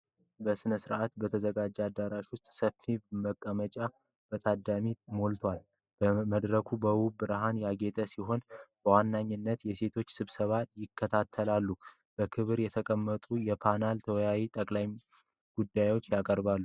በሥርዓት በተዘጋጀ አዳራሽ ውስጥ ሰፊ መቀመጫዎች በታዳሚ ሞልተዋል። መድረኩ በውብ ብርሃን ያጌጠ ሲሆን፤ በዋነኝነት የሴቶች ስብስብ ይከታተላል። በክብር የተቀመጡ የፓናል ተወያዮች ጠቃሚ ጉዳዮችን ያቀርባሉ።